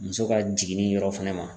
Muso ka jiginni yɔrɔ fɛnɛ ma.